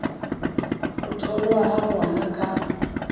ho tholwa ha ngwana ka